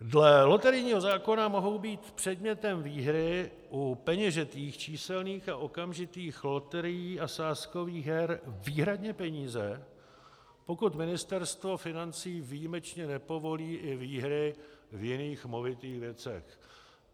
Dle loterijního zákona mohou být předmětem výhry u peněžitých, číselných a okamžitých loterií a sázkových her výhradně peníze, pokud Ministerstvo financí výjimečně nepovolí i výhry v jejich movitých věcech.